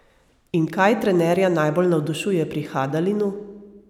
In kaj trenerja najbolj navdušuje pri Hadalinu?